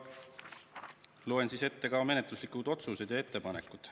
Loen ette ka menetluslikud otsused ja ettepanekud.